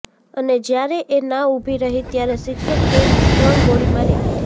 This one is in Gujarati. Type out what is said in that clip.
અને જ્યારે એ ના ઉભી રહી ત્યારે શિક્ષકે ત્રણ ગોળી મારી દીધી